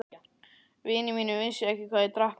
Vinir mínir vissu ekki hvað ég drakk mikið.